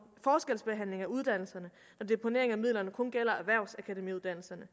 forskelsbehandling af uddannelserne når deponering af midlerne kun gælder erhvervsakademiuddannelserne